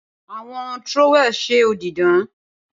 Awọn trowel ṣe odi dan.